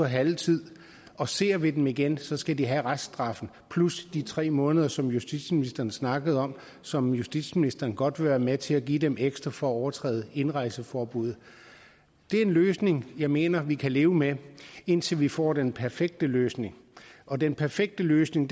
halv tid og ser vi dem igen skal skal de have reststraffen plus de tre måneder som justitsministeren snakkede om og som justitsministeren godt vil være med til at give dem ekstra for at overtræde indrejseforbuddet det er en løsning jeg mener vi kan leve med indtil vi får den perfekte løsning og den perfekte løsning